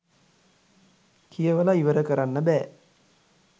කියවල ඉවර කරන්න බෑ